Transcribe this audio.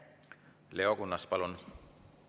Leo Kunnas, palun!